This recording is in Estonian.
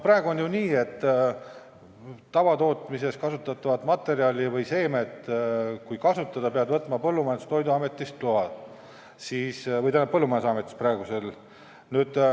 Praegu on ju nii, et kui sa tahad kasutada tavatootmiseks mõeldud materjali või seemet, pead sa Põllumajandusametist loa.